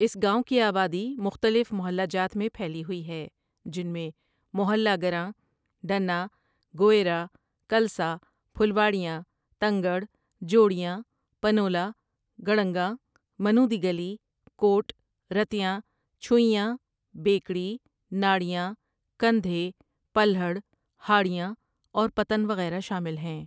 اس گاؤں کی آبادی مختلف محلہ جات میں پھیلی ہوئی ہے جن میں محلہ گراں، ڈنہ، گویرا، کلساں، پھلواڑیاں، تنگڑ، جوڑیاں، پنولہ، گڑنگاں، منو دی گلی، کوٹ، رتیاں، چھوئیاں، بیکڑی، ناڑیاں، کندھے، پلہڑ، ھاڑیاں اور پتن وغیرہ شامل ہیں ۔